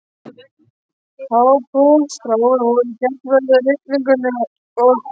Há punt- stráin voru gegnblaut af rigningunni, og